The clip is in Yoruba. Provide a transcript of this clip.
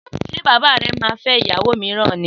Sé bàbá re máa fé ìyàwó míràn ni?